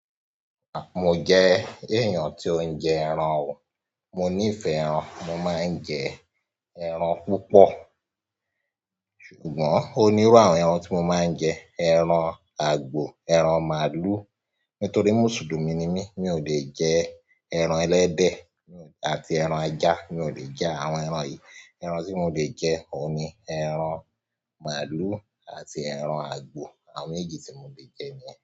Mo jẹ́ èèyàn tó ń jẹ ẹran o, mo nífẹ̀ẹ́ ẹran, mo máa ń jẹ ẹran púpọ̀. Ṣùgbọ́n ó nírú àwọn ẹran tí mo máa ń jẹ. Ẹran àgbò, ẹran màlúù. Nítorí Mùsùlùmí ni mí, mi ò lè jẹ ẹran ẹlẹ́dẹ̀ àti ẹran ajá. Mi ò lè jẹ àwọn ẹran yìí. Ẹran tí mo lè jẹ òní ẹran màlúù àti ẹran àgbò àwọn méjì tí mo lè jẹ nìyẹn.